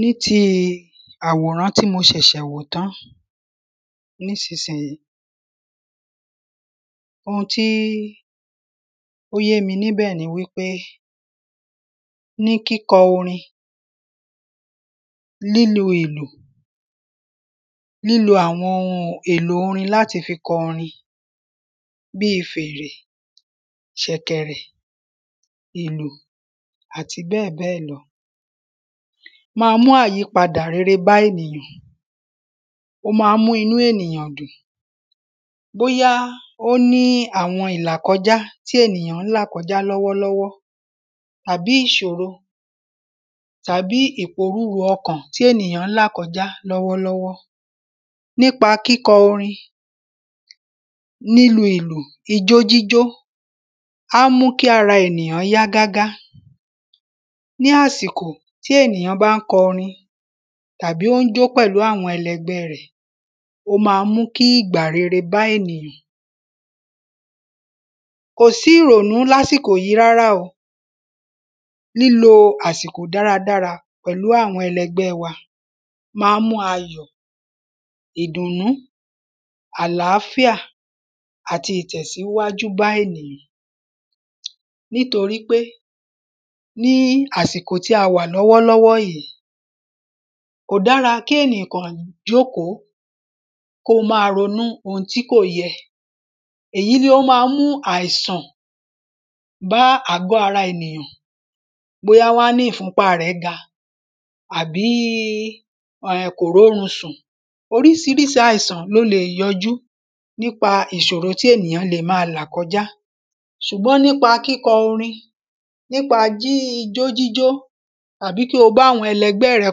Ní ti àwòrán tí mo ṣẹ̀ṣẹ̀ wò tán nísìsìyìí Oun tí ó yé mi níbẹ̀ ni wípé ní kíkọ orin lílu ìlù lílo àwọn ohun èlò orin láti fi kọ orin bí fèrè ṣẹ̀kẹ̀rẹ̀ ìlù àti bẹ́ẹ̀ bẹ́ẹ̀ lọ má mú àyípada rere bá ènìyàn ó má ń mú inú ènìyàn dùn bóyá ó ní àwọn ìlàkọjá tí ènìyàn ń là kọjá lọ́wọ́ àbí ìṣòro tàbí ìpòrurù ọkàn tí ènìyàn ń là kọjá lọ́wọ́ lọ́wọ́. Nípa kíkọ orin lílu ìlù ijó jíjó á mú kára ènìyàn yá gágá Ní àsìkò tí ènìyàn bá ń kọrin tàbí ó ń jó pẹ̀lú àwọn ẹlẹgbẹ́ rẹ̀ ó má ń mú kí ìgbà rere bá ènìyàn. Kò sí ìrònú lásìlò yìí rárá o lílo àsìkò dára dára pẹ̀lú àwọn ẹlẹgbẹ́ wa má ń mú ayọ̀ ìdùnú àláfíà àti ìtẹ̀síwájú bá ènìyàn nítorípé ní àsìkò tí a wà lọ́wọ́ lọ́wọ́ yìí kò dára kí ènìyàn kàn nìkan jókòó kó má ronú ohun tí kò yẹ. Èyí ni ó má ń mú àìsàn bá àgọ́ ara ènìyàn bóyá wọ́n á ní ìfúnpá rẹ̀ ga àbí ẹ kò rórun sùn. oríṣiríṣi àìsàn ló le yọjú nípa ìṣòro tí ènìyàn le má là kọjá ṣùgbọ́n nípa kíkọrin nípa ijó jíjó tàbí kí o bá àwọn ẹgbẹ́ rẹ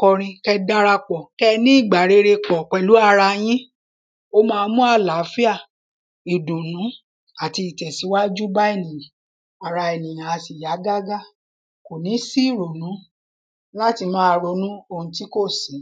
kọrin kó darapọ̀ kẹ́ ní ìgbà rere pẹ̀lú ara yín ó má ń mú àláfíà ìdùnú àti ìtẹ̀síwájú bá ènìyàn ara ènìyàn a sì yá gágá kò ní sí ìrònú láti má ronú ohun tí kò sí.